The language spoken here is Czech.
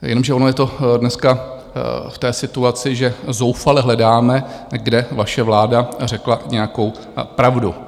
Jenomže ono je to dneska v té situaci, že zoufale hledáme, kde vaše vláda řekla nějakou pravdu.